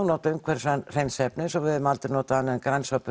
notum umhverfisvæn hreinsiefni svo að við höfum aldrei notað annað en grænsápu